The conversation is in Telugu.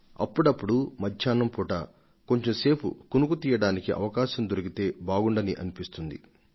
ఒక్కొక్క సారి మధ్యాహ్నం పూట కొంచెం సేపు కునుకు తీస్తే భలేగా ఉంటుందని మనకు అనిపిస్తుంది